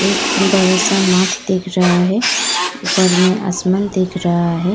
एक बड़ा सा मार्ट दिख रहा है। ऊपर में आसमान दिख रहा है।